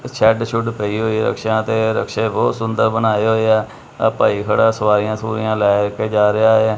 Shed ਸ਼ੁਡ ਪਈ ਹੋਈ ਰਿਕਸ਼ਿਆਂ ਤੇ ਰਿਕਸ਼ੇਂ ਬਹੁਤ ਸੋਹਣੇ ਸੁੰਦਰ ਬਣਾਏ ਹੋਏ ਆ ਆਹ ਭਾਈ ਖੜਾ ਸਵਾਰੀਆਂ ਸੁਵੁਰੀਆਂ ਲਏ ਕੇ ਜਾ ਰਿਹਾ ਹੈ।